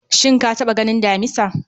shin ka taɓa ganin damisa?